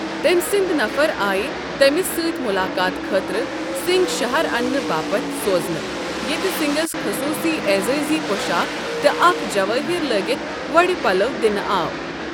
تٔمۍ سٕنٛدۍ نفر آیہ تمِس سٕتہِ ملاقاتہٕ خاطرٕ سِنگھ شہر اننہٕ باپتھ سوزنہٕ ،ییٚتہ سِنگھس خصوصی اعزٲزی پو٘شاخ تہٕ اكھ جوٲہِر لٲگِتھ وۄڈ پلو دنہٕ آو ۔